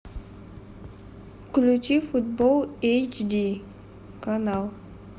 включи футбол эйч ди канал